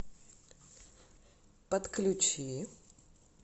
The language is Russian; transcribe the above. подключи